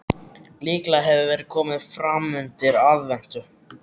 Líklega hefur verið komið framundir aðventu.